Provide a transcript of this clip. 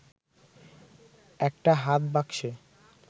একটা হাত বাক্সে